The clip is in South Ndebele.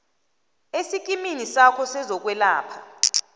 esikimini sakho sezokwelapha